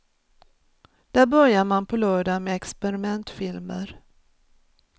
Där börjar man på lördag med experimentfilmer.